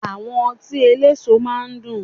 Àwọn ọtí eléso máa ń dùn